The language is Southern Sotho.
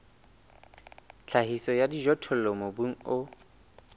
tlhahiso ya dijothollo mobung o